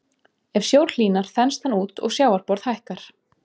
Ef sjór hlýnar þenst hann út og sjávarborð hækkar.